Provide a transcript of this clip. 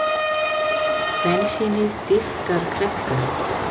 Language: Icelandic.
Bensínið dýpkar kreppuna